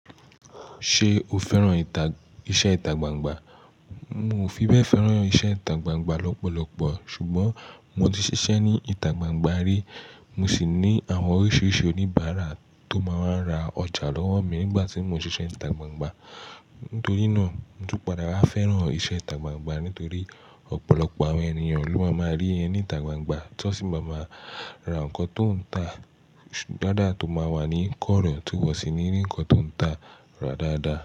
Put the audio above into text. Ṣé o fẹ́ràn ìtà-- iṣẹ́ ìtagbangba? Mo ò fi bẹ́ẹ̀ fẹ́ràn iṣẹ́ ìtagbangba lọ́pọ̀lọpọ̀ ṣùgbọ́n mo ti ṣiṣẹ́ ní ìtagbangba rí. Mo sì ní àwọn oríṣiríṣi oníbàárà tó máa ń ra ọjà lọ́wọ́ mi nígbà tí mo ń ṣiṣẹ́ ìtagbangba. Nítorí náà, mo tún padà wáa fẹ́ràn iṣẹ́ ìtagbangba nítorí ọ̀pọ̀lọpọ̀ àwọn ènìyàn ló máa máa rí ẹ ní ìtagbangba tí wọ́n sì máa máa ra nǹkan tó ń ta dáadáa tó máa wà ní kọ́rọ̀ tó wọ̀sì ni rí ǹkan tó ń ta rà dáadáa.